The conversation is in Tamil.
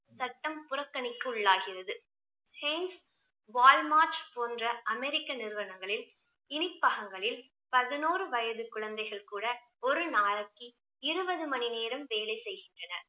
சட்டம் புறக்கணிக்குள்ளாகிறது. வால்மார்ட் போன்ற அமெரிக்க நிறுவனங்களில் இனிப்பழகங்களில் பதினோரு வயது குழந்தைகள் கூட ஒரு நாளைக்கு இருபது மணி நேரம் வேலை செய்கின்றனர்